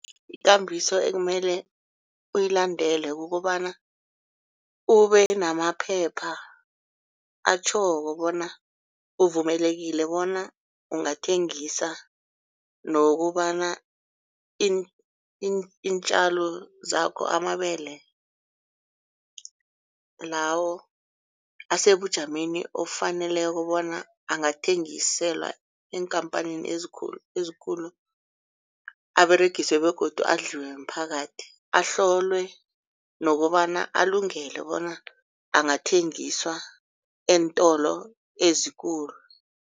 Ikambiso ekumele uyilandele kukobana ube namaphepha atjhoko bona uvumelekile bona ungathengisa nokobana iintjalo zakho amabele lawo asebujameni ofaneleko bona angathengiselwa eenkhamphanini ezikulu ezikulu aberegiswe begodu adliwe mphakathi ahlolwe nokobana alungele bona angathengisa eentolo ezikulu.